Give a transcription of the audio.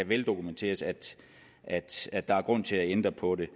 veldokumenteret at der er grund til at ændre på det